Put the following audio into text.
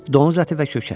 Donuz əti və kökə.